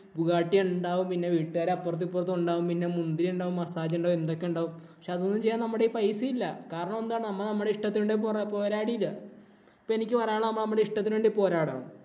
Bugatti ഉണ്ടാവും. പിന്നെ വീട്ടുകാര് അപ്പുറത്തും ഇപ്പുറത്തും ഉണ്ടാവും. പിന്നെ മുന്തിരി ഉണ്ടാവും, മസാജ് ഉണ്ടാവും, എന്തൊക്കെ ഉണ്ടാവും. പക്ഷേ അതൊന്നും ചെയ്യാൻ നമ്മുടെ കൈയില്‍ പൈസയില്ല. കാരണം നമ്മുടെ ഇഷ്ടത്തിന് വേണ്ടി പോരാടിയില്ല. പക്ഷേ എനിക്ക് പറയാനുള്ളത് നമ്മൾ നമ്മുടെ ഇഷ്ടത്തിന് വേണ്ടി പോരാടണം.